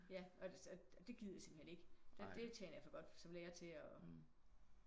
Ja så og det gider jeg simpelthen ikke. Det tjener jeg for godt som lærer til og